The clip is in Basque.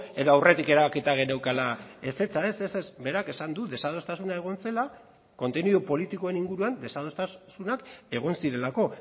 edo aurretik erabakita geneukala ezetza ez ez berak esan du desadostasuna egon zela kontenidu politikoen inguruan desadostasunak egon zirelako